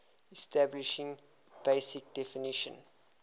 establishing basic definition